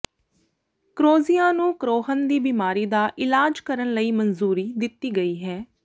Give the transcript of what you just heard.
ਕਰੋਜ਼ਿਆ ਨੂੰ ਕਰੋਹਨ ਦੀ ਬੀਮਾਰੀ ਦਾ ਇਲਾਜ ਕਰਨ ਲਈ ਮੰਜ਼ੂਰੀ ਦਿੱਤੀ ਗਈ ਹੈ